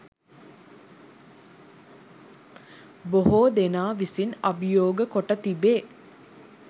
බොහෝ දෙනා විසින් අභියෝග කොට තිබේ.